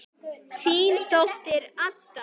Þín dóttir, Adda.